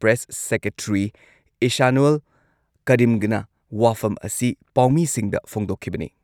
Press secretary ꯏꯁꯥꯅꯨꯜ ꯀꯔꯤꯝꯒꯅ ꯋꯥꯐꯝ ꯑꯁꯤ ꯄꯥꯎꯃꯤꯁꯤꯡꯗ ꯐꯣꯡꯗꯣꯛꯈꯤꯕꯅꯤ꯫